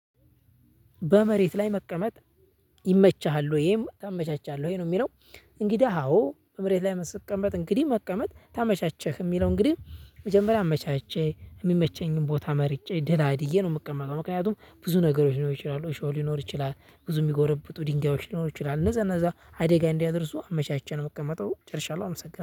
በመሬት ላይ መቀመጥ ይመችሃል ወይም ታመቻቻለህ ወይ ነው የሚለው? እንግዳ አዎ በመሬት ላይ መቀመጥ እንግዲህ መቀመጥ ታመቻቸክ የሚለው እንግዲህ መጀመሪያ አመቻችቼ የሚመቸኝን ቦታ መርጬ ደላድዬ ነው። ምቀመጠው ምክንያቱም ብዙ ነገሮች ሊኖሩ ይችላሉ እሾህ ሊኖር ይችላል ብዙ የሚጎረብጡ ድንጋዮች ሊኖር ይችላል እነዛ እነዛ አዴጋ እንዳያደርሱ አመቻችቼ ነው የምቀመጠው ጨርሻለሁ። አመሰግናለሁ